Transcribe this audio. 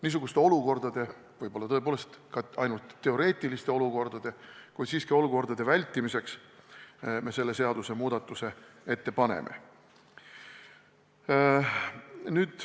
Niisuguste olukordade – võib-olla tõepoolest ainult teoreetiliste, kuid siiski – vältimiseks me selle seadusemuudatuse ette paneme.